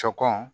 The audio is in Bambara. Sɔ kɔn